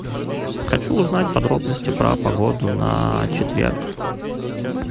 хочу узнать подробности про погоду на четверг